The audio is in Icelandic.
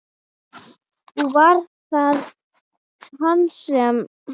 Og var það hann sem.?